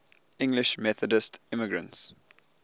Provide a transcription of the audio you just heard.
english methodist immigrants